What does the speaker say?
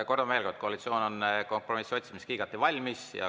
Kordan veel kord: koalitsioon on kompromissi otsimiseks igati valmis.